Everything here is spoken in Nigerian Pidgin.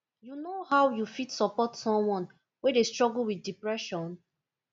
you know how you fit support someone wey dey struggle wit depression